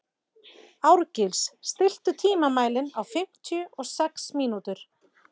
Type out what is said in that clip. Árgils, stilltu tímamælinn á fimmtíu og sex mínútur.